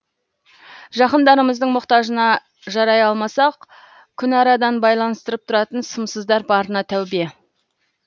жақындарымыздың мұқтажына жарай алмасақ күнарадан байланыстырып тұратын сымсыздар барына тәубе